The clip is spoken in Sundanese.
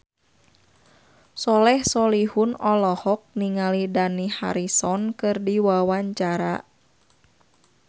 Soleh Solihun olohok ningali Dani Harrison keur diwawancara